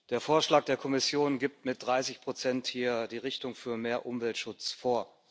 Der Vorschlag der Kommission gibt mit 30 hier die Richtung für mehr Umweltschutz vor.